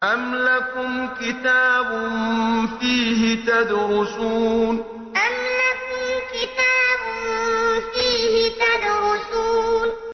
أَمْ لَكُمْ كِتَابٌ فِيهِ تَدْرُسُونَ أَمْ لَكُمْ كِتَابٌ فِيهِ تَدْرُسُونَ